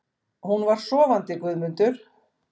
Hún var sofandi Guðmundur.